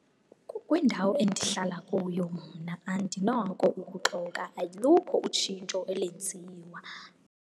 Kwindawo endihlala kuyo mna, andinako ukuxoka, alukho utshintsho elenziwa.